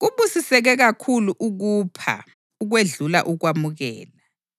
‘Kubusiseke kakhulu ukupha ukwedlula ukwamukela.’ ”